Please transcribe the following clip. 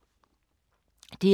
DR2